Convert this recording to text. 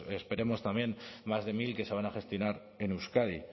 esperemos también más de mil que se van a gestionar en euskadi